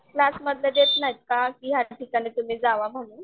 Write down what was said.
क्लासमध्ये देत नाहीत का की याठिकाणी तुम्ही जावा म्हणून.